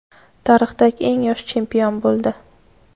tarixdagi eng yosh chempion bo‘ldi.